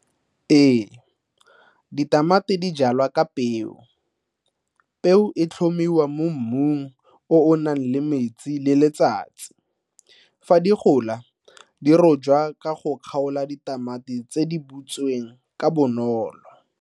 Ee, ditamati di jalwa ka peo. Peo e tlhomiwa mo mmung o o nang le metsi le letsatsi. Fa di gola, di rojwa ka go kgaola ditamati tse di butsweng ka bonolo.